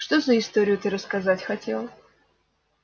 что за историю ты рассказать хотел